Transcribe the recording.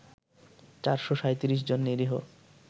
৪৩৭ জন নিরীহ